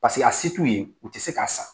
Paseke a se t'u ye u tɛ se k'a san.